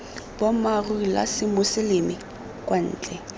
boammaaruri la semoseleme kwa ntle